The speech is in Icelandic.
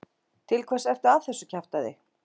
Til hvers ertu að þessu kjaftæði?